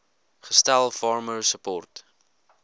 gestel farmer support